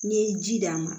N'i ye ji d'a ma